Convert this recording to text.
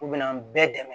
U bɛ n'an bɛɛ dɛmɛ